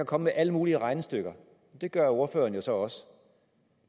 komme med alle mulige regnestykker og det gør ordføreren jo så også